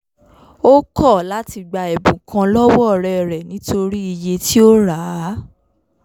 ó kọ̀ láti gba ẹ̀bùn kan lọ́wọ́ ọ̀rẹ́ rẹ̀ nítorí iye tí ó rà á